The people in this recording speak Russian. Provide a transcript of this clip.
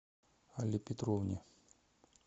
алле петровне